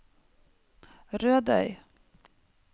Rødøy